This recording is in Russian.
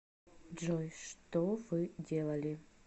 джой что вы делали